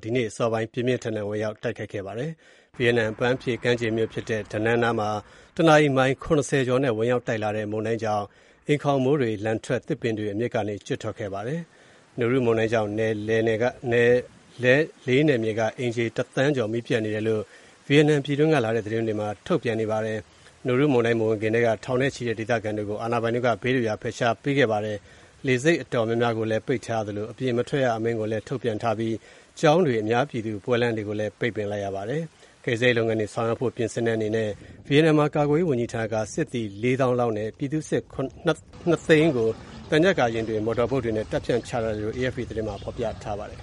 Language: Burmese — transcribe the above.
ဒီနေ့ အစောပိုင်းက ဝင်ရောက်တိုက်ခိုက်ခဲ့ပါတယ်။ ဗီယက်နမ် အပန်းဖြေကမ်းခြေမြို့ဖြစ်တဲ့ Danang နားမှာ တနာရီ မိုင် ၇၀ ကျော်နဲ့ ဝင်ရောက်လာတဲ့ မုန်တိုင်းကြောင့် အိမ်ခေါင်မိုးတွေလန်ထွက်၊ သစ်ပင်တွေအမြစ်ကနေ ကျွတ်ထွက်ခဲ့ပါတယ်။ Noru မုန်တိုင်းကြောင့် နယ်လေးနယ်က အိမ်ခြေတသန်းကျော် မီးပျက်နေတယ်လို့ Vietnam ပြည်တွင်းကလာတဲ့သတင်းတွေမှာ ထုတ်ပြန်နေပါတယ်။ Noru မုန်တိုင်း မဝင်ခင်ကတည်းက ထောင်နဲ့ချီတဲ့ဒေသခံတွေကို အာဏာပိုင်တွေက ဘေးလွတ်ရာ ဖယ်ရှားပေးခဲ့ပါတယ်။ လေဆိပ်အတော်များများကိုပိတ်ထားသလို အပြင်မထွက်ရအမိန့်ကိုလည်း ထုတ်ပြန်ထားပါတယ်။ ကျောင်းတွေ၊ အများပြည်သူပွဲလမ်းတွေကိုလည်း ပိတ်ပင်လိုက်ပါတယ်။ ကယ်ဆယ်ရေးလုပ်ငန်းတွေ ဆောင်ရွက်ဖို့ ပြင်ဆင်တဲ့အနေနဲ့ ဗီယက်နာမ်ကာကွယ်ရေးဝန်ကြီးဌာနက စစ်သည် ၄၀,၀၀၀ လောက်နဲ့ ပြည်သူ့စစ် ၂၀၀,၀၀၀ ကို သံချပ်ကာယာဉ်တွေနဲ့ မော်တော်ဘုတ်တွေနဲ့ တပ်ဖြန့်ချထားတယ်လို့ AFP သတင်းက ဖော်ပြပါတယ်။